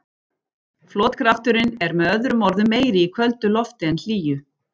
Flotkrafturinn er með öðrum orðum meiri í köldu lofti en hlýju.